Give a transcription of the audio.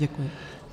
Děkuji.